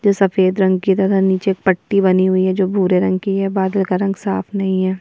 जो सफेद रंग की तथा नीचे एक पट्टी बनी हुई है जो भूरे रंग की है बादल का रंग साफ नहीं है।